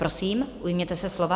Prosím, ujměte se slova.